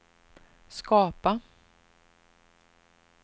skapa